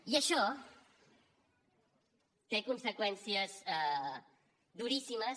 i això té conseqüències duríssimes